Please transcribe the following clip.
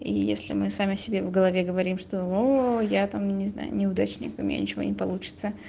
если мы сами себе в голове говорим что я там не знаю неудачниками ничего не получится